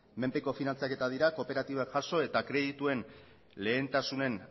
menpeko finantzaketak dira kooperatibak jaso eta kredituen lehentasunen